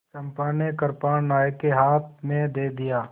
चंपा ने कृपाण नायक के हाथ में दे दिया